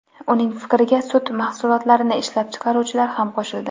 Uning fikriga sut mahsulotlarini ishlab chiqaruvchilar ham qo‘shildi.